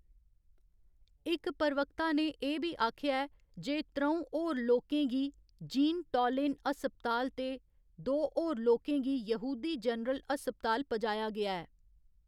इक प्रवक्ता ने एह् बी आखेआ ऐ जे त्र'ऊं होर लोकें गी जीन टालोन अस्पताल ते दो होर लोकें गी यहूदी जनरल अस्पताल पजाया गेआ ऐ।